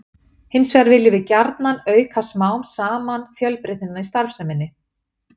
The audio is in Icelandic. Hins vegar viljum við gjarnan auka smám saman fjölbreytnina í starfseminni.